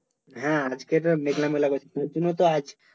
হ্যাঁ আজকে তো মেঘলা মেঘলা করছে তোর জন্য তো আজ